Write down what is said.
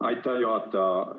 Aitäh, juhataja!